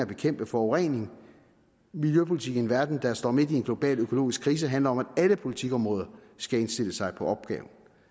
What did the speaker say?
bekæmpe forurening miljøpolitik i en verden der står midt i en global økonomisk krise handler om at alle politikområder skal indstille sig på opgaven